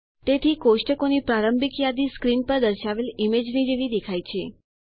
તેથી કોષ્ટકોની પ્રારંભિક યાદી સ્ક્રીન પર દર્શાવેલ ઈમેજની જેવી દેખાય છે